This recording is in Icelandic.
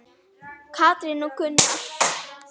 Katrín og Gunnar.